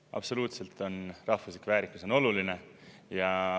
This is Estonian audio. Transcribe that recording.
Absoluutselt on rahvuslik väärikus oluline.